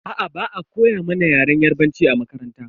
Aa, ba'a koya mana yaren yarbanci a makaranta.